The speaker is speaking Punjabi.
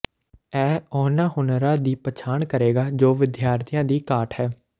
ਇਹ ਉਹਨਾਂ ਹੁਨਰਾਂ ਦੀ ਪਛਾਣ ਕਰੇਗਾ ਜੋ ਵਿਦਿਆਰਥੀਆਂ ਦੀ ਘਾਟ ਹੈ